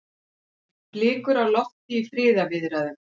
Blikur á lofti í friðarviðræðum